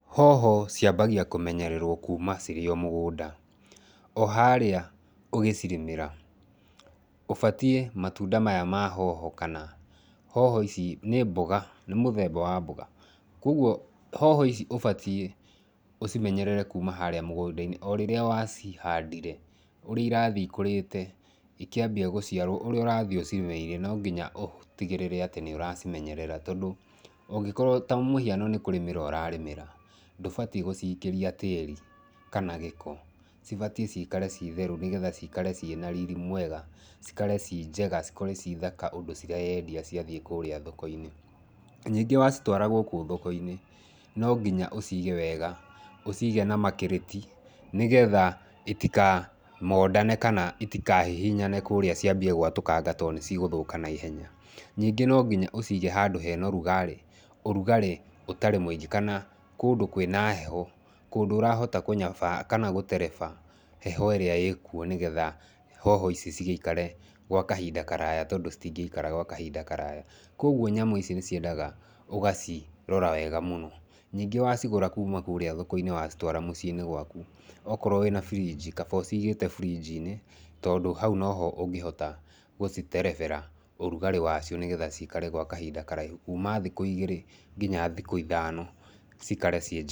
Hoho ciambagia kũmenyererwo kuuma cirĩ omũgũnda, oharĩa ũgĩcirĩmĩra, ũbatie matunda maya mahoho kana hoho ici nĩ mũthemba wa mboga ,kũoguo hoho ici cibatiĩ ũcimenyerere kuuma harĩa mũgũndainĩ orĩrĩa wacihandire oũrĩa ũrathii cikũrĩte, ikĩambia gũciarwo, ũrĩa ũrathii ũcimeneyereire, nonginya ũtigĩrĩre atĩ nĩũracimenyerera tondũ ũngĩkorwo ta rĩũ mũhiano nĩkũrĩmĩra ũrarĩmĩra, ndũbatie gũcikĩria tĩri kana gĩko, cibatie cikare citheru nĩgetha cikare cina riri mwega cikare cinjega na cikore cithaka ũndũ cireendia ciathii kũrĩa thokoinĩ, ningĩ wacitwara gũkũ thokoinĩ nonginya ũcige wega, ũcige na makĩrĩti nĩgetha itikamondane kana itikahihihane kũrĩa ciambie gwatũkanga tondũ cigũthũka naihenya, ningĩ nongiya ũcige handũ hena ũrugarĩ, ũrugarĩ ũtarĩ mũingĩ kana kũndũ kwĩna heho, kũndũ ũrahota kũnyabaa kana gũtereba heho ĩrĩa ĩkuo nĩgetha hoho ici cigĩikare gwa kahinda karaya tondũ citingĩkara kahinda karaya, kũoguo nyamu ici nĩciendaga ũgacirora wega mũno, ningĩ wacigũra kuuma kũrĩa thokoinĩ wacitwara mũciinĩ waku, wakorwa wĩna buriji kaba ũcigĩte burijinĩ, tondũ haũ noho ũngĩhota gũciterebera ũrugarĩ wacio nĩgetha cikare kwa kahinda karaihu kuuma thikũ igĩrĩ nginya thukũ ithano cikare cinjega.